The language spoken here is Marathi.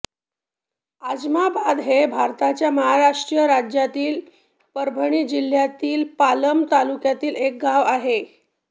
आजमाबाद हे भारताच्या महाराष्ट्र राज्यातील परभणी जिल्ह्यातील पालम तालुक्यातील एक गाव आहे